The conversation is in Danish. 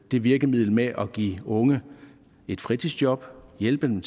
det virkemiddel med at give unge et fritidsjob hjælpe dem